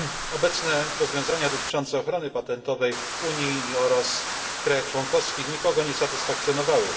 Obecne rozwiązania dotyczące ochrony patentowej w Unii oraz w krajach członkowskich nikogo nie satysfakcjonowały.